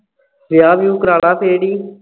ਵਿਆਹ ਵਿਹੁ ਕਰਵਾਲਾ ਫੇਰ ਵੀ